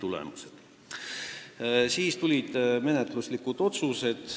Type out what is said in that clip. Seejärel tulid menetluslikud otsused.